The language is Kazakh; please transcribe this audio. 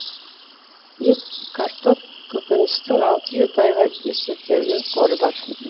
ет картоп көкөністің алты жеті айға есептелген қоры бар